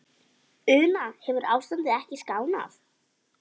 Una, hefur ástandið ekkert skánað?